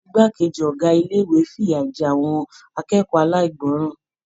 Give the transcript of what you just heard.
Igbákejì Ọ̀gá ilé-ìwé f'iya jẹ àwọn akẹ́kọ̀ọ́ alaigbọran.